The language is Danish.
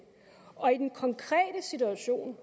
og i den konkrete situation